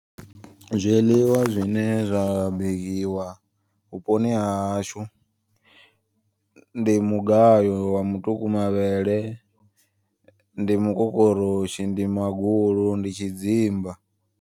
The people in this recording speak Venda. Zwiḽiwa zwine zwa bikiwa vhuponi hahashu. Ndi mugayo wa mutuku mavhele, ndi mukokoroshi, ndi magulu, ndi tshidzimba.